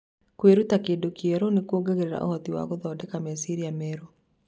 Kwĩruta kĩndũ kĩerũ nĩ kuongereraga ũhoti wa gũthondeka meciria merũ.